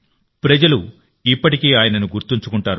ప్రజలు ఇప్పటికీ ఆయనను గుర్తుంచుకుంటారు